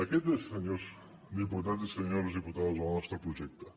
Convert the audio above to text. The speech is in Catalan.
aquest és senyors diputats i senyores diputades el nostre projecte